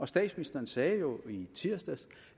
statsministeren sagde jo i tirsdags